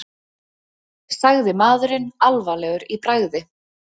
sagði maðurinn, alvarlegur í bragði.